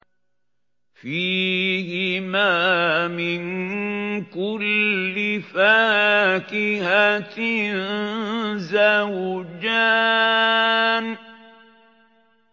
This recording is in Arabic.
فِيهِمَا مِن كُلِّ فَاكِهَةٍ زَوْجَانِ